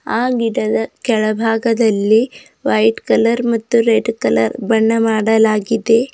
ಆ ಗಿಡದ ಕೆಳಭಾಗದಲ್ಲಿ ವೈಟ್ ಕಲರ್ ಮತ್ತು ರೆಡ್ ಕಲರ್ ಬಣ್ಣ ಮಾಡಲಾಗಿದೆ.